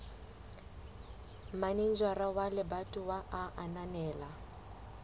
manejara wa lebatowa a ananela